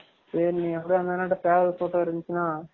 சரி நீ எதும் அந்த அன்னா கிட்ட சேவல் photo இருந்துசுனா